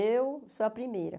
Eu sou a primeira.